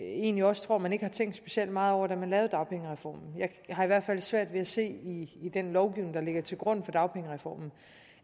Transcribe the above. egentlig også tror man ikke har tænkt specielt meget over da man lavede dagpengereformen jeg har i hvert fald svært ved at se i den lovgivning der ligger til grund for dagpengereformen